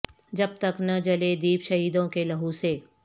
جب تک نہ جلے دیپ شہیدوں کے لہو سے